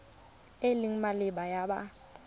e e maleba ya kopo